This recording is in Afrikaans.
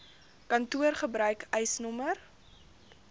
kantoor gebruik eisnr